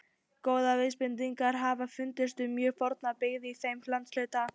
Góðar vísbendingar hafa fundist um mjög forna byggð í þeim landshluta.